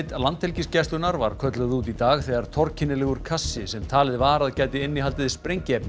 Landhelgisgæslunnar var kölluð út í dag þegar kassi sem talið var að gæti innihaldið sprengiefni